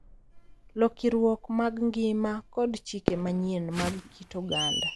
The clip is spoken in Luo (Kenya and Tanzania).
Lokiruok mag ngima, kod chike manyien mag kit oganda.